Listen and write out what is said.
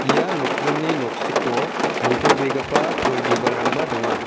ia nokdringni noksiko nitobegipa pul bibalrangba donga.